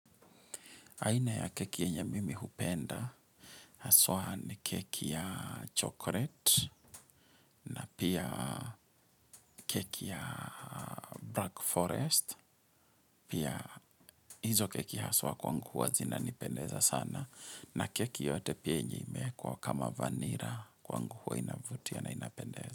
Aina ya keki yenye mimi hupenda, haswa ni keki ya chocolate na pia keki ya black forest, pia hizo keki haswa kwangu huwa zinanipendeza sana na keki yoyote pia yenye imeekwa kama vanila kwangu huwa inavutia na inapendeza.